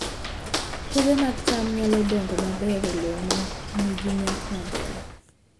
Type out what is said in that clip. Puothe mag cham nyalo dongo maber e lowo ma nigi nyak maber